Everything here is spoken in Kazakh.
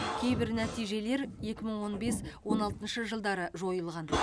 кейбір нәтижелер екі мың он бес он алтыншы жылдары жойылған